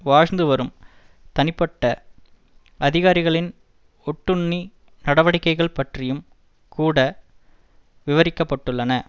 வாழ்ந்துவரும் தனிப்பட்ட அதிகாரிகளின் ஒட்டுண்ணி நடவடிக்கைகள் பற்றியும் கூட விவரிக்கப்பட்டுள்ளன